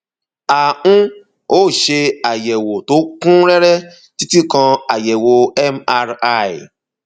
a um ó ṣe àyẹwò tó kún rẹrẹ títí kan àyẹwò mri